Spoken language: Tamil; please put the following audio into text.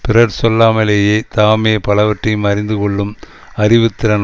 பிறர் சொல்லாமலேயே தாமே பலவற்றையும் அறிந்து கொள்ளும் அறிவு திறம்